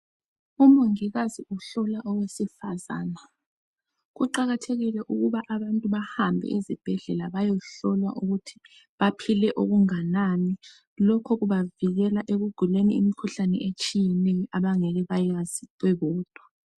umongikazi uhlola owesifazane kuqakathekile ukuba abantu bahambe ezibhedlela beyehlola ukuthi baphile okungakanani lokho kubavikela ekuguleni imikhuhlane etshiyeneyo abangekebebeyazi bebodwa